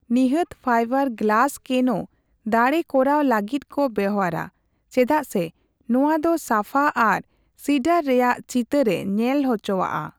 ᱱᱤᱦᱟᱹᱛ fibre glass ᱠᱮᱱᱳ ᱫᱟᱲᱮ ᱠᱚᱨᱟᱣ ᱞᱟᱜᱤᱫ ᱠᱚ ᱵᱮᱣᱦᱟᱨᱟ ᱪᱮᱫᱟᱜ ᱥᱮ ᱱᱚᱟᱟ ᱫᱚ ᱥᱟᱯᱷᱟ ᱟᱨ ᱥᱤᱰᱟᱨ ᱨᱮᱭᱟᱜ ᱪᱤᱛᱟᱹᱨᱼᱮ ᱧᱮᱞ ᱦᱚᱪᱚᱣᱟᱜᱼᱟ ᱾